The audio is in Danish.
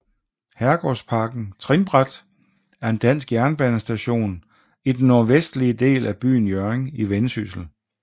Herregårdsparken Trinbræt er en dansk jernbanestation i den nordvestlige del af byen Hjørring i Vendsyssel